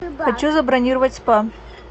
хочу забронировать спа